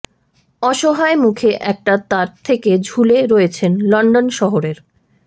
অসহায় মুখে একটা তার থেকে ঝুলে রয়েছেন লন্ডন শহরের